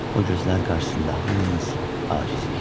O gözlər qarşısında hamımız acizik.